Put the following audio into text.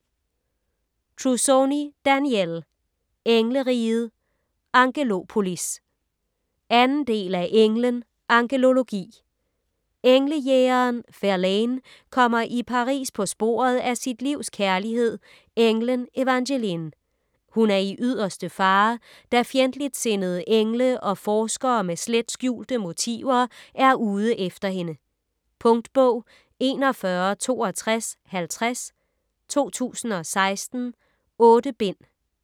Trussoni, Danielle: Engleriget - Angelopolis 2. del af Englen - angelologi. Englejægeren Verlaine kommer i Paris på sporet af sit livs kærlighed, englen Evangeline. Hun er i yderste fare, da fjendtligtsindede engle og forskere med slet skjulte motiver er ude efter hende. . Punktbog 416250 2016. 8 bind.